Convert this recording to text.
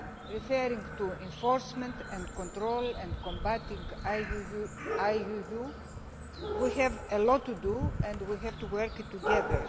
Referring to enforcement and control and combating IUU, we have a lot to do and we have to work on it together.